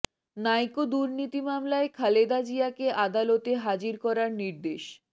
নাইকো দুর্নীতি মামলায় খালেদা জিয়াকে আদালতে হাজির করার নির্দেশ